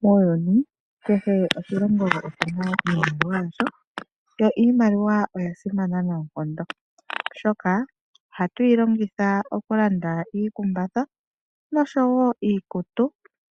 Muuyuni, kehe oshilongo oshina iimaliwa yasho, yo iimaliwa oya simana noonkondo, oshoka ohatu yi longitha okulanda iikumbatha nosho wo iikutu,